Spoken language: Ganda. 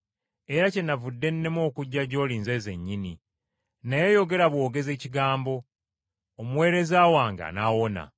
Era kyenavudde nnema okujja gy’oli nze nzennyini. Naye yogera bwogezi ekigambo, omuweereza wange anaawona!